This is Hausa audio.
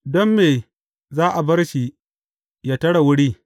Don me za a bar shi ya tare wuri.’